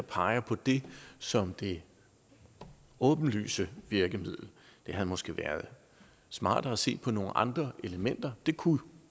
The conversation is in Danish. peget på det som det åbenlyse virkemiddel det havde måske været smartere at se på nogle andre elementer det kunne